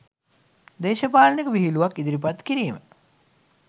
දේශපාලනික විහිළුවක් ඉදිරිපත් කිරීම